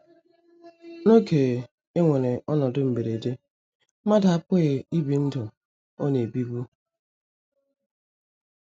N’oge e nwere ọnọdụ mberede, mmadụ apụghị ibi ndụ ọ “ na - ebibu. ”